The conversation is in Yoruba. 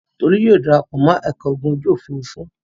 Tolú yóò dara pọ̀ mọ́ ẹ̀ka ogun ojú-òfurufú.